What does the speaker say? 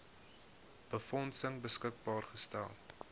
befondsing beskikbaar gestel